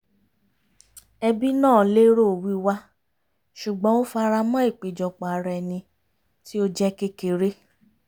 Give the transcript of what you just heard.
ẹbí náà lérò wíwá ṣùgbọ́n ó faramọ́ ìpéjọpọ̀ ara ẹni tí ó jẹ́ kékeré